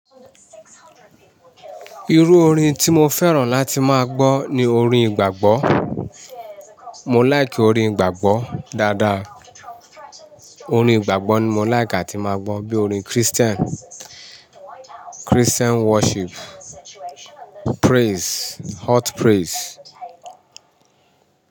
Irú orin tí mo fẹ́ràn láti máa gbọ́ ni orin ìgbàgbọ́. Mò láìkì orin ìgbàgbọ́ dáadáa. Orin ìgbàgbọ́ ni mo láìkì láti máa gbọ́ bí orin Christian, Christian worship, praise, hot praise.